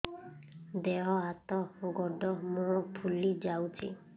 ଦେହ ହାତ ଗୋଡୋ ମୁହଁ ଫୁଲି ଯାଉଛି